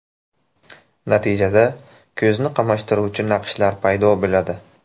Natijada, ko‘zni qamashtiruvchi naqshlar paydo bo‘ladi.